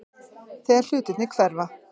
Þegar hlutirnir hverfa